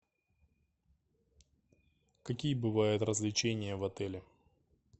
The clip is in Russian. какие бывают развлечения в отеле